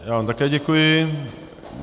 Já vám také děkuji.